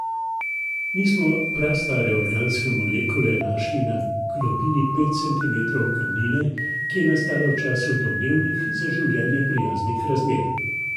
Mi smo prastare organske molekule našli na globini pet centimetrov kamnine, ki je nastala v času domnevnih za življenje prijaznih razmer.